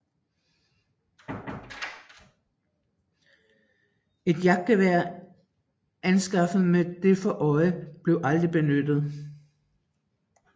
Et jagtgevær anskaffet med det for øje blev aldrig benyttet